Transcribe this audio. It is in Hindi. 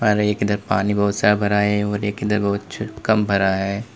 और एक इधर पानी बोहोत सारा भरा है और एक इधर कम भरा है।